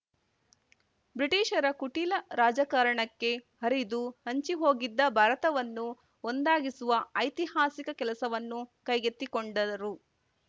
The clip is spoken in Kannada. ಬ್ರಿಟಿಷರ ಕುಟಿಲ ರಾಜಕಾರಣಕ್ಕೆ ಹರಿದು ಹಂಚಿಹೋಗಿದ್ದ ಭಾರತವನ್ನು ಒಂದಾಗಿಸುವ ಐತಿಹಾಸಿಕ ಕೆಲಸವನ್ನು ಕೈಗೆತ್ತಿಕೊಂಡರು